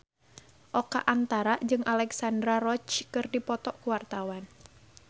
Oka Antara jeung Alexandra Roach keur dipoto ku wartawan